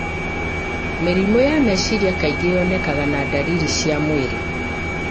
Mĩrimũ ya meciria kaingĩ yonekaga na ndariri cia mwĩrĩ